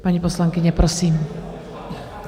Paní poslankyně, prosím.